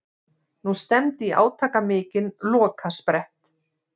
Nú stefndi í átakamikinn lokasprett.